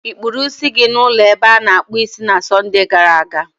Ị kpụrụ isi gị n'ụlọ ebe a na-akpụ isi na Sọnde gara aga?